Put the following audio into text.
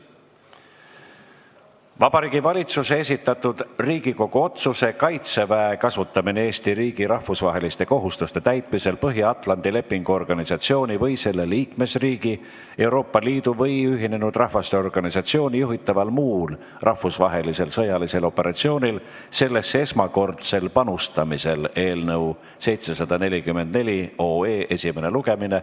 Vabariigi Valitsuse esitatud Riigikogu otsuse "Kaitseväe kasutamine Eesti riigi rahvusvaheliste kohustuste täitmisel Põhja-Atlandi Lepingu Organisatsiooni või selle liikmesriigi, Euroopa Liidu või Ühinenud Rahvaste Organisatsiooni juhitaval muul rahvusvahelisel sõjalisel operatsioonil sellesse esmakordsel panustamisel" eelnõu 744 esimene lugemine.